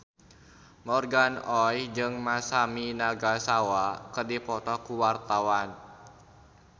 Morgan Oey jeung Masami Nagasawa keur dipoto ku wartawan